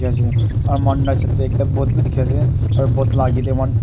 dikhi ase aru moihan right Side teh ekta boat bhi dikhi ase aru boat lah aage teh one --